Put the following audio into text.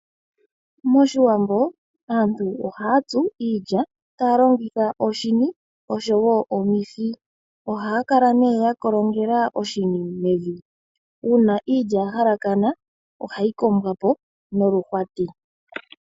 Moshiwambo aantu oha ya tsu iilya, taya longitha oshini oshowo omihi. Oha ya kala ne ya kolongela oshini mevi. Una iilya ya halakana oha yi kombwa po noluhwati.